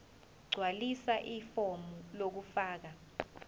gqwalisa ifomu lokufaka